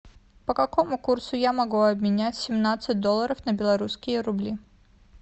по какому курсу я могу обменять семнадцать долларов на белорусские рубли